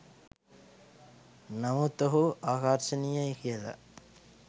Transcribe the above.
නමුත් ඔහු ආකර්ශනීයයි කියල